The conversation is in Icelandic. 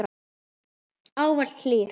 Ávallt hlýr.